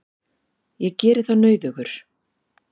Ég geri það nauðugur.